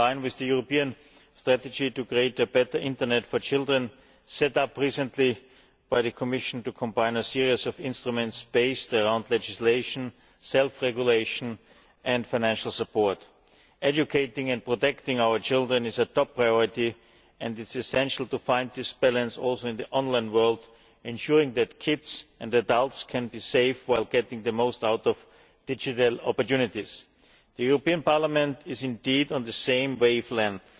It is in line with the European strategy to create a better internet for children, which was set up recently by the Commission to combine a series of instruments based on legislation, self regulation and financial support. Educating and protecting our children is a top priority and it is essential to find this balance also in the online world, ensuring that children and adults can be safe while getting the most out of digital opportunities. Parliament is indeed on the same wavelength.